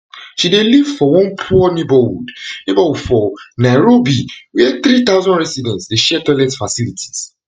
she dey live for one poor neighbourhood neighbourhood for nairobi wia three thousand residents dey share toilet facilities